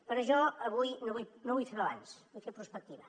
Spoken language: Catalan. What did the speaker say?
però jo avui no vull fer balanç vull fer prospectiva